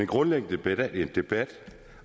grundlæggende debat